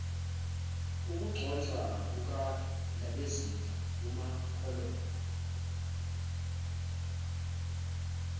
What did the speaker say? ukugcotshwa kukandabezitha umapholoba